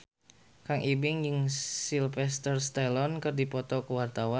Kang Ibing jeung Sylvester Stallone keur dipoto ku wartawan